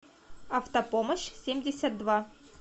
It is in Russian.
автопомощь семьдесят два